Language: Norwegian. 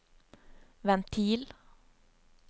ventil